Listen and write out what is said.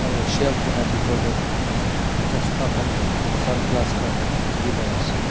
aro shelf la bitor tey chasma khan sunglass khan dikhi paise.